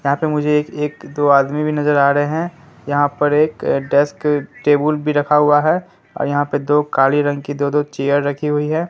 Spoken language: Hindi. यहां पर मुझे एक एक दो आदमी भी नजर आ रहे है। यहां पर डेस्क टेबुल टेबल भी रखा हुआ है और यहां पर दो काली रंग की दो दो चेयर रखी हुई है।